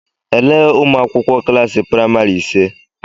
Elee ụmụakwụkwọ klaasị praịmari ise?